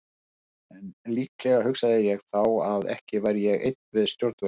En líklega hugsaði ég þá að ekki væri ég einn við stjórnvölinn.